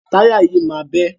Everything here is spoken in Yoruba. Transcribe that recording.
Táyà yìí máa bẹ́.